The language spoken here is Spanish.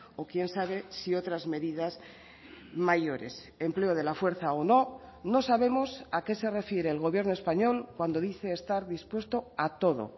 o quién sabe si otras medidas mayores empleo de la fuerza o no no sabemos a qué se refiere el gobierno español cuando dice estar dispuesto a todo